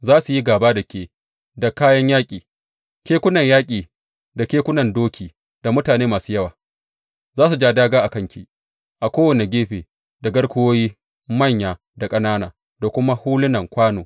Za su yi gāba da ke da kayan yaƙi, kekunan yaƙi da kekunan doki da mutane masu yawa; za su ja dāgā a kanki a kowane gefe da garkuwoyi manya da ƙanana da kuma hulunan kwano.